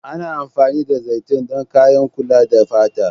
Ana amfani da zaitun don kayan kula da fata.